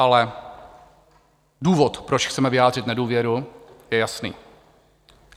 Ale důvod, proč chceme vyjádřit nedůvěru, je jasný.